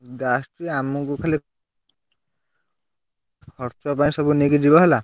ଏମତି ଆସୁଛି ଆମକୁ ଖାଲି ଖର୍ଚ୍ଚ ପାଇଁ ସବୁ ନେଇକି ଯିବ ହେଲା।